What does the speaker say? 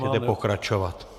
Můžete pokračovat.